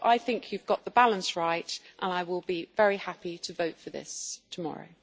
So I think you have got the balance right, and I will be very happy to vote for this tomorrow.